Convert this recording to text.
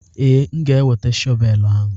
Ee, m ga-eweta shọvel ahụ.